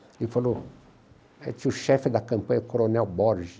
Ele falou, aí tinha o chefe da campanha, o Coronel Borges.